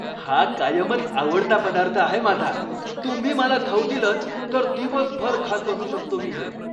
हा कायमच आवडता पदार्थ आहे माझा, तुम्ही मला खाऊ दिलंत तर दिवसभर खात बसू शकतो मी हे.